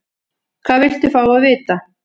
Hvað viltu fá að vita?